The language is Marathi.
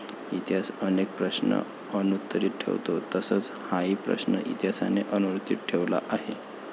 इतिहास अनेक प्रश्न अनुत्तरीत ठेवतो तसच हाही प्रश्न इतिहासाने अनुत्तरीत ठेवला आहे.